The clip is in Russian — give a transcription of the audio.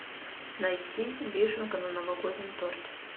найти вишенка на новогоднем торте